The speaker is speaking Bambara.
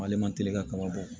Ale man teli ka kaba bɔ